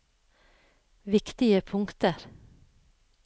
viktige punkter